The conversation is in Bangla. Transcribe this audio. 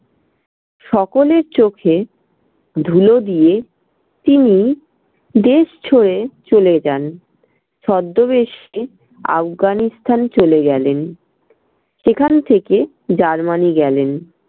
সকলের চোখে ধুলো দিয়ে তিনি দেশ ছেড়ে চলে যান। ছদ্দবেশে আফগানিস্তান চলে গেলেন, সেখান থেকে germany গেলেন।